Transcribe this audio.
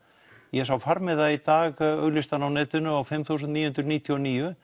ég sá farmiða í dag auglýstan á netinu á fimm þúsund níu hundruð níutíu og níu